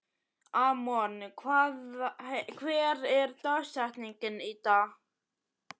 Amon, hver er dagsetningin í dag?